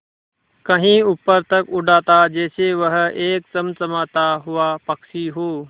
कहीं ऊपर तक उड़ाता जैसे वह एक चमकता हुआ पक्षी हो